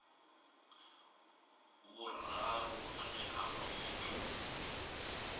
vhuraru ane a vha muthu